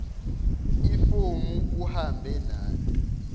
ifomu uhambe nalo